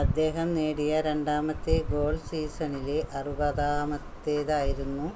അദ്ദേഹം നേടിയ രണ്ടാമത്തെ ഗോൾ സീസണിലെ അറുപതാമത്തേത് ആയിരുന്നു